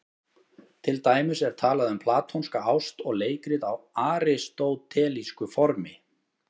Til dæmis er talað um platónska ást og leikrit á aristótelísku formi.